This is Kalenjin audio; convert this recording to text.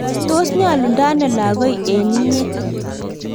tos nyolundo ano lagoi eng inye?